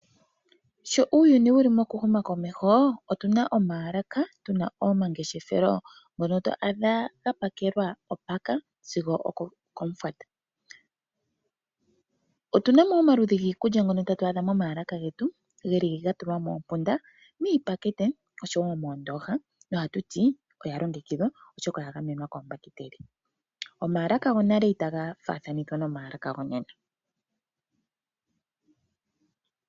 Sho uuyuni wuli moku huma komeho otuna omaalaka tuna omangeshefelo ngono to adha ga pakelwa opaka sigo okomufwata. Otuna mo wo omaludhi giikulya ngono tatu adha moma alaka getu geli ga tulwa moompunda miipakete oshowo moondoha tatu ti oya longekidhwa noya gamenwa koombahiteli. Oomalaka go nale ita ga faathanithwa nomaalaka go nena.